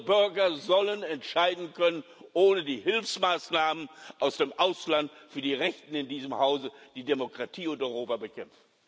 Unsere Bürger sollen entscheiden können ohne die Hilfsmaßnahmen aus dem Ausland für die Rechten in diesem Hause, die Demokratie und Europa bekämpfen.